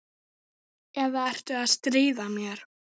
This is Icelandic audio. Eða ertu að stríða mér?